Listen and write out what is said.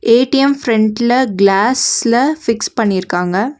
ATM ஃப்ரெண்ட்ல க்ளாஸ்ல fix பண்ணிருக்காங்க.